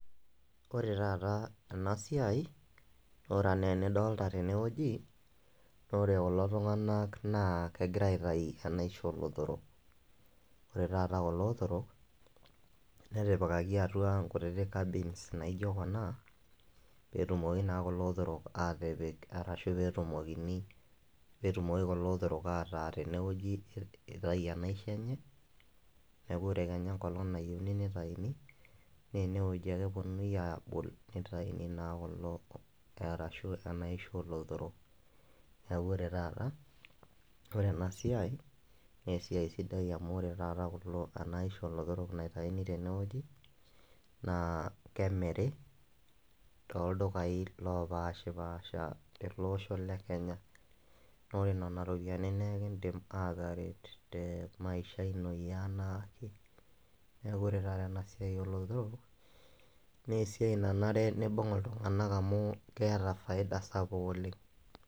ore taata ena siai, ore anaa enidoolta tene wueji ore kulo tunganak naa kegira aitayu enaishoo oolotorok. ore taata kulo otorok, netipikaki atua inkutiti, cabins naijo kuna pee etumoki naa kulo otorok aatipik, arashu pee etumokini, pee etumoki kulo otorok ataa tene wueji, itayu enaisho enye. neeku ore kenya enkolong nayieuni nitayuni, naa ene wueji ake epuonunui aabol, nitayuni naa kulo ashu enaishoo oolotorok. neeku ore taata ore ena siai, naa esiai sidai amu, enaisho oolotorok naitayuni tene wueji, naa kemiri tooldukai loopashipaasha. tele osho le kenya, naa ore nena ropiyiani naa ekidim aataret te maisha ino. neeku ore taata ena siai oolotorok, naa esiai nanare nibung' iltunganak amu keeta faida sapuk oleng.